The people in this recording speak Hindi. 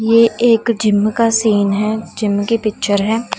ये एक जिम का सीन है जिम की पिक्चर है।